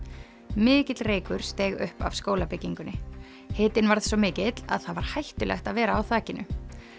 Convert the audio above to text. mikill reykur steig upp af skólabyggingunni hitinn varð svo mikill að það var hættulegt að vera á þakinu